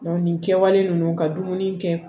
nin kɛwale ninnu ka dumuni kɛ